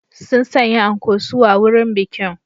Sun sanya anko suwa wurin bikin